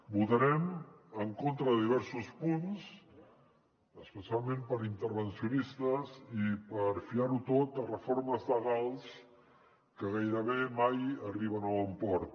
votarem en contra de diversos punts especialment per intervencionistes i per fiar ho tot a reformes legals que gairebé mai arriben a bon port